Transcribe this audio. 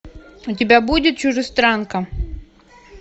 у тебя будет чужестранка